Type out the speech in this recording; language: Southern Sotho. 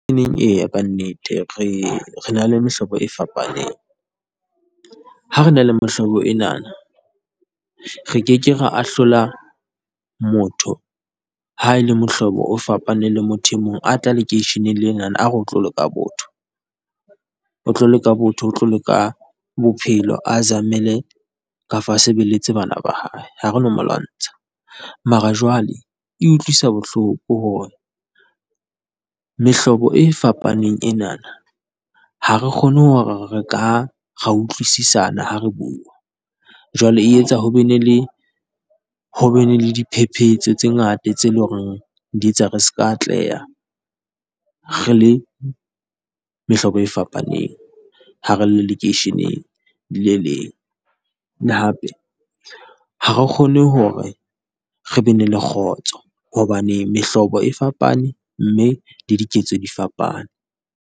Eya, ka nnete, re na le mehlobo e fapaneng. Ha re na le mehlobo ena, re ke ke ra ahlola motho ha e le mehlobo o fapaneng le motho e mong a tla lekeisheneng lena, a re o tlo leka botho. O tlo leka botho. O tlo leka bophelo, a zamele, kafa a sebeletse bana ba hae. Ha re no mo lwantsha, mara jwale e utlwisa bohloko hore mehlobo e fapaneng enana ha re kgone hore re ka utlwisisana ha re bua, jwale e etsa hore ho be le diphephetso tse ngata tseo e leng hore di etsa re seka atleha re le mehlobo e fapaneng ha re le lekeisheneng le leng. Hape ha re kgone hore re be le kgotso hobane mehlobo e fapane, mme le diketso di fapane.